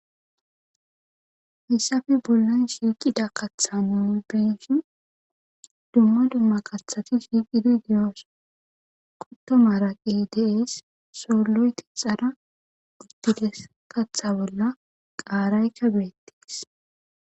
hisafi bollan shiiqida katha nu beshi dumma dumma kathati shiiqidi deyoos qottomaraqi deees soolloyti xara uttides katha bolla qaarayka beettees